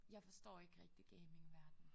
Jeg forstår ikke rigtig gamingverdenen